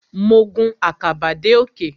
Mo gun àkàbà dé òkè.